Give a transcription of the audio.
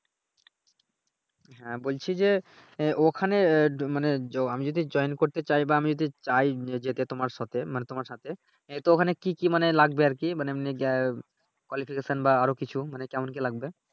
হ্যাঁ বলছি যে ওখানে মানে আমি যদি জয়েন করতে চাই বা আমি যদি চাই যেতে তোমার সাথে মানে তোমার সাথে এ তো ঐখানে কি কি মানে লাগবে আরকি মানে এমনি যা Qualification বা আরো কিছু মানে কেমন কি লাগবে।